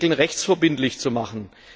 diese Regeln rechtsverbindlich zu machen.